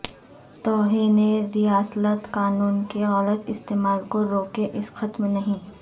توہین رسالت قانون کے غلط استعمال کو روکیے اس ختم نہیں